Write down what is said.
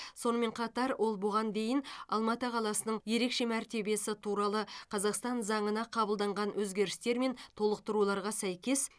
сонымен қатар ол бұған дейін алматы қаласының ерекше мәртебесі туралы қазақстан заңына қабылданған өзгерістер мен толықтыруларға сәйкес